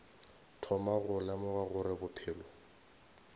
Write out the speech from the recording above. thoma go lemoga gore bophelo